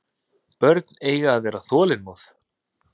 Börn eiga að vera þolinmóð.